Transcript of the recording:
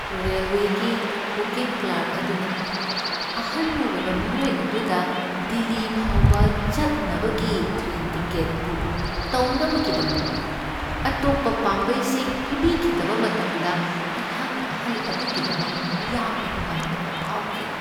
ꯔꯦꯜꯋꯦꯒꯤ booking clerk ꯑꯗꯨꯅ ꯑꯍꯟ ꯑꯣꯏꯔꯕ ꯃꯤꯑꯣꯏ ꯑꯗꯨꯗ ꯗꯤꯜꯂꯤ ꯐꯥꯎꯕ ꯆꯠꯅꯕꯒꯤ ꯇ꯭ꯔꯦꯟ ꯇꯤꯀꯦꯠ ꯕꯨꯛ ꯇꯧꯅꯕꯒꯤꯗꯃꯛ ꯑꯇꯣꯞꯄ ꯄꯥꯝꯕꯩꯁꯤꯡ ꯄꯤꯕꯤꯈꯤꯗꯕ ꯃꯇꯝꯗ ꯑꯩꯍꯥꯛꯅ ꯑꯍꯟ ꯑꯗꯨꯒꯤꯗꯃꯛ ꯌꯥꯝꯅ ꯅꯨꯡꯉꯥꯏꯇꯕ ꯐꯥꯎꯈꯤ ꯫